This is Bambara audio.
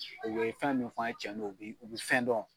u be fɛn min f'an ye cɛn don u bi u bi fɛn dɔn.